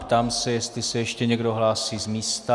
Ptám se, jestli se ještě někdo hlásí z místa.